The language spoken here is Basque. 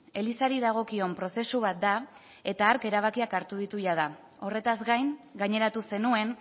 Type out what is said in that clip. elizari dagokion prozesu bat da eta hark erabakiak hartu ditu jada horretaz gain gaineratu zenuen